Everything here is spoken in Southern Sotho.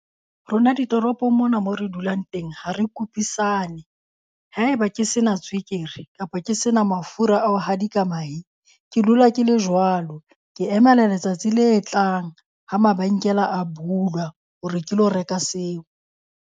Rona ditoropong mona mo re dulang teng ha re kopisane. Haeba ke sena tswekere kapa ke sena mafura a ho hadika mahe, ke dula ke le jwalo. Ke emela letsatsi le tlang ha mabenkele a bulwa hore ke lo reka seo.